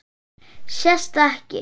Sést það ekki?